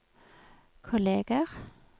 kolleger